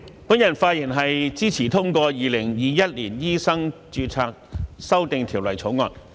主席，我發言支持通過《2021年醫生註冊條例草案》。